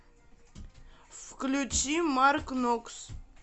включи маркнокс